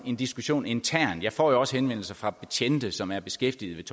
en diskussion internt jeg får jo også henvendelser fra betjente som er beskæftiget